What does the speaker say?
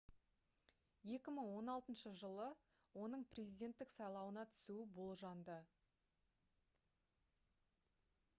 2016-жылы оның президенттік сайлауына түсуі болжанды